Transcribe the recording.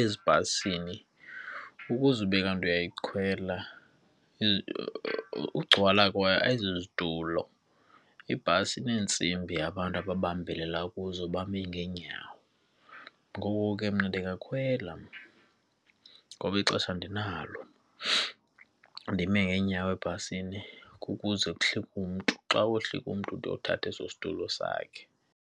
ezibhasini ukuze ube kanti uyikhwela ugcwala kwayo ayizozitulo, ibhasi ineentsimbi abantu ababambelela kuzo bame ngeenyawo. Ngoko ke mna ndingakhwela ngoba ixesha andinalo ndime ngeenyawo ebhasini kukuze kuhlike umntu, xa kohlika umntu ude uthathe eso situlo sakhe.